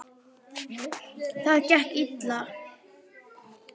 Það gekk illa.